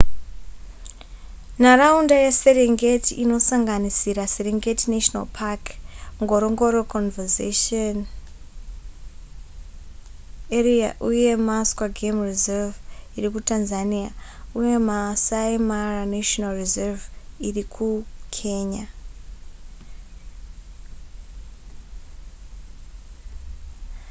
nharaunda yeserengeti inosanganisira serengeti national park ngorongoro conservation area uye maswa game reserve iri kutanzania uye maasai mara national reserve iri kukenya